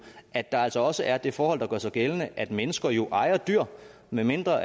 at der altså også er det forhold der gør sig gældende at mennesker jo ejer dyr medmindre